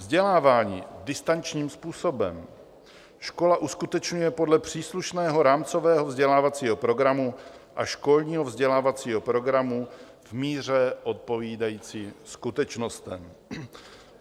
Vzdělávání distančním způsobem škola uskutečňuje podle příslušného rámcového vzdělávacího programu a školního vzdělávacího programu v míře odpovídající skutečnostem.